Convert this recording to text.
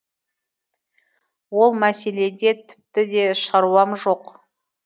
ол мәселеде тіпті де шаруам жоқ